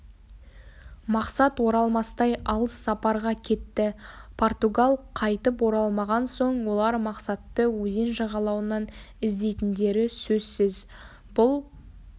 мақсат оралмастай алыс сапарға кетті португал қайтып оралмаған соң олар мақсатты өзен жағалауынан іздейтіндері сөзсіз бұл